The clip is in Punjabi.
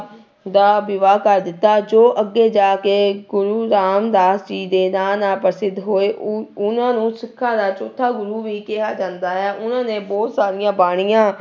ਦਾ ਵਿਵਾਹ ਕਰ ਦਿੱਤਾ ਜੋ ਅੱਗੇ ਜਾ ਕੇ ਗੁਰੂ ਰਾਮਦਾਸ ਜੀ ਦੇ ਨਾਂ ਨਾਲ ਪ੍ਰਸਿੱਧ ਹੋਏ, ਉਹ ਉਹਨਾਂ ਨੂੰ ਸਿੱਖਾਂ ਦਾ ਚੌਥਾ ਗੁਰੂ ਵੀ ਕਿਹਾ ਜਾਂਦਾ ਹੈ, ਉਹਨਾਂ ਨੇ ਬਹੁਤ ਸਾਰੀਆਂ ਬਾਣੀਆਂ